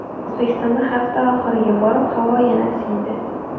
O‘zbekistonda hafta oxiriga borib havo yana isiydi.